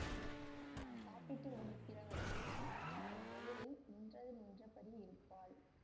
நான் சாப்பிட்டு முடிகிற வரைக்கும் என் எதிரில் நின்றது நின்றபடி இருப்பாள்